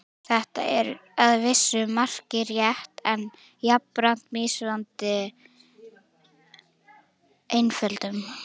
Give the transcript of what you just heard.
Þetta er að vissu marki rétt en jafnframt misvísandi einföldun.